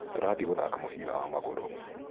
Turathiĩ gũthaka mũbira wa magũrũ